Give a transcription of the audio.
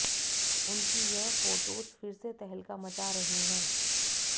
उनकी यह फोटोज फिर से तहलका मचा रही है